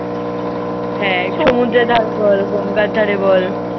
হ্যাঁ, সমুদ্রের ধারে বল, গঙ্গার ধারে বল।